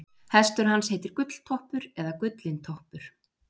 Hestur hans heitir Gulltoppur eða Gullintoppur.